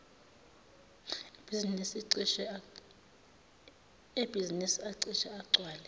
ebhizinisi acishe agcwale